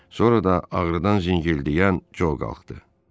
Sonra da ağrıdan zingildəyən Co qalxdı.